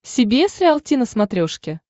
си би эс риалти на смотрешке